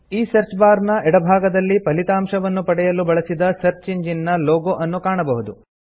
ಈ search bar ನ ಎಡಭಾಗದಲ್ಲಿ ಫಲಿತಾಂಶವನ್ನು ಪಡೆಯಲು ಬಳಸಿದ ಸರ್ಚ್ ಇಂಜಿನ್ ನ ಲೋಗೊ ಅನ್ನು ಕಾಣಬಹುದು